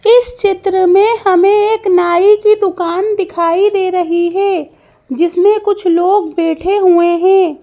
इस चित्र में हमें एक नाई की दुकान दिखाई दे रही है जिसमें कुछ लोग बैठे हुए हैं।